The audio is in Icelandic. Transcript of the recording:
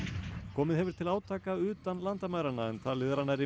komið hefur til átaka utan landamæranna en talið er að nærri